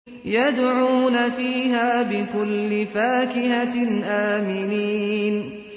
يَدْعُونَ فِيهَا بِكُلِّ فَاكِهَةٍ آمِنِينَ